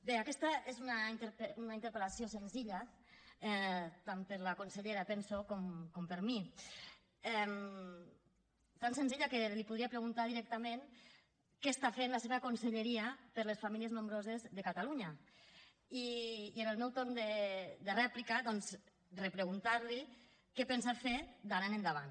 bé aquesta és una interpel·lació senzilla tant per a la consellera penso com per a mi tan senzilla que li podria preguntar directament què està fent la seva conselleria per les famílies nombroses de catalunya i en el meu torn de rèplica doncs repreguntar li què pensa fer d’ara endavant